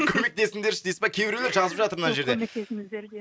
көмектесіңдерші дейсіз ба кейбіреулер жазып жатыр мына жерде